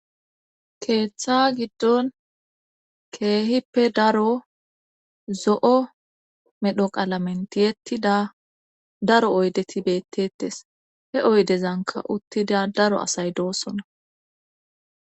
keeththa giddon keehippe daro zo'o medho qalamen tiyettida daro oydeti beettetes he oydezanka uttida daro asay doosona